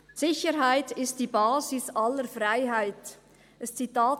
«Sicherheit ist die Basis aller Freiheit», ein Zitat.